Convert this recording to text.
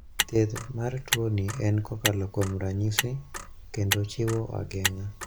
Thieth mar tuoni en kokalo kuom ranyisi kendo chiwo ageng'a.